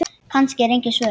Kannski eru engin svör.